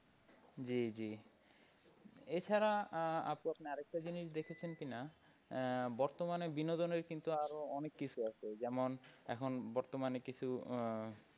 জি জি এছাড়া আহ আপু আপনি আর একটা জিনিস দেখেছেন কিনা আহ বর্তমানে বিনোদনের কিন্তু আরো অনেক কিছু আছে যেমন এখন বর্তমানে কিছু আহ